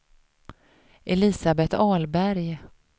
Elisabeth Ahlberg